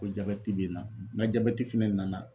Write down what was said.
Ko jabɛti be n na n ga jabɛti fɛnɛ nana